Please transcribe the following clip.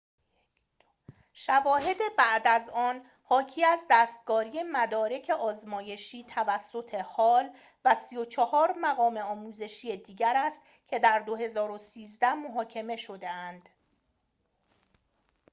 شواهد بعد از آن حاکی از دستکاری مدارک آزمایشی توسط هال و ۳۴ مقام آموزشی دیگر است که در ۲۰۱۳ محاکمه شده‌اند